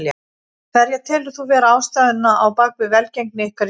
Hverja telur þú vera ástæðuna á bakvið velgengni ykkar í sumar?